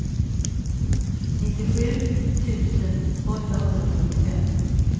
nittiosju tusen åttahundrasjuttiofem